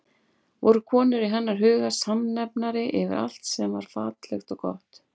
Voru konur í hennar huga samnefnari yfir allt sem var fallegt og gott?